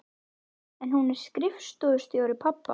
Já, en hún er skrifstofustjóri, pabbi!